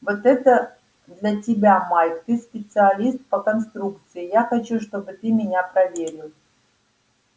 вот это для тебя майк ты специалист по конструкции я хочу чтобы ты меня проверил